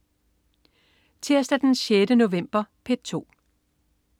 Tirsdag den 6. november - P2: